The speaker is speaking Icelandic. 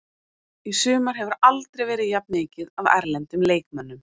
Í sumar hefur aldrei verið jafn mikið af erlendum leikmönnum.